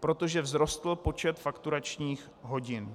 protože vzrostl počet fakturačních hodin.